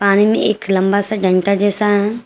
पानी में एक लंबा सा डंडा जैसा--